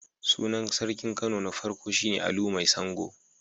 Sunan sarkin Kano na farko shi ne Alu Mai Sango.